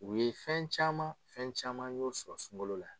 U ye fɛn caman , fɛn caman n y'o sɔrɔ sunkalo la.